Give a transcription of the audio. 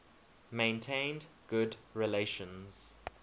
maintained good relations